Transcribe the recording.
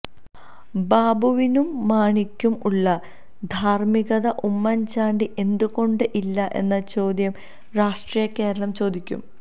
ബാബുവിനും മാണിക്കും ഉള്ള ധാര്മ്മികത ഉമ്മന്ചാണ്ടി എന്ത് കൊണ്ട്ഇല്ല എന്ന ചോദ്യം രാഷ്ട്രീയ കേരളം ചോദിക്കും